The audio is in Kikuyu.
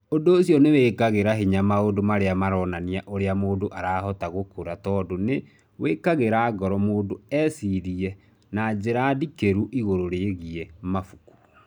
Ũndũ ũcio nĩ wĩkagĩra hinya maũndũ marĩa maronania ũrĩa mũndũ arahota gũkũra tondũ nĩ wĩkagĩra ngoro mũndũ ecirie na njĩra ndikĩru igũrũ rĩgiĩ mabuku.